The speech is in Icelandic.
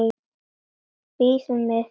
Bíðum við.